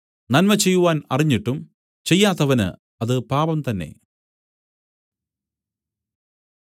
നന്മ ചെയ്യുവാൻ അറിഞ്ഞിട്ടും ചെയ്യാത്തവന് അത് പാപം തന്നെ